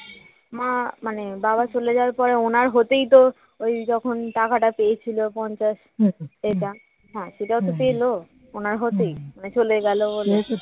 মা মানে বাবা চলে যাওয়ার পরে ওনার হতেই তো ওই যখন টাকাটা পেয়েছিল পঞ্চাশ এটা হ্যাঁ সেটাও তো পেল ওনার হতেই উনি চলে গেল বলে